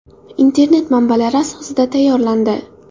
Internet manbalari asosida tayyorlandi.